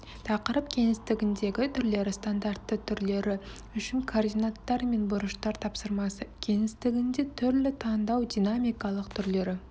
тақырып кеңістігіндегі түрлері стандартты түрлері үшін координаттар мен бұрыштар тапсырмасы кеңістігінде түрлі таңдау динамикалық түрлері